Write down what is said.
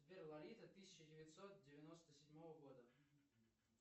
сбер лолита тысяча девятьсот девяносто седьмого года